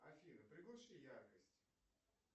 афина приглуши яркость